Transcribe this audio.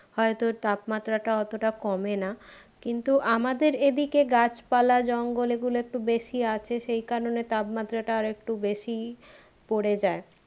হয়তো তাপমাত্রাটা অতটা কমে না কিন্তু আমাদের এদিকে গাছপালা জঙ্গল এগুলো একটু বেশি আছে সেই কারণে তাপমাত্রাটা আরেকটু বেশিই পরে যাই